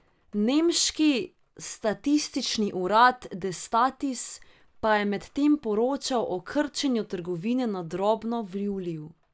Nemški statistični urad Destatis pa je medtem poročal o krčenju trgovine na drobno v juliju.